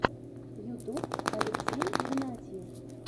ютуб алексей игнатьев